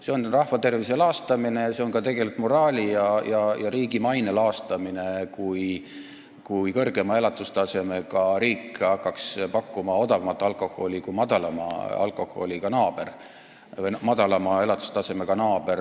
See on rahva tervise laastamine ja see on tegelikult ka moraali ja riigi maine laastamine, kui kõrgema elatustasemega riik hakkaks pakkuma odavamat alkoholi kui tema madalama elatustasemega naaber.